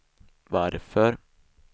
varför